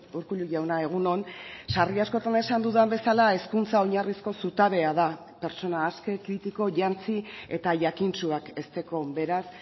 urkullu jauna egun on sarri askotan esan dudan bezala hezkuntza oinarrizko zutabea da pertsona aske kritiko jantzi eta jakintsuak hezteko beraz